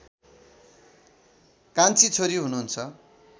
कान्छी छोरी हुनुहुन्छ